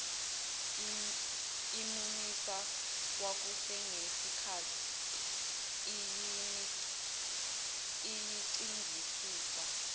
imumisa kwakusenesikhathi eyicingisisa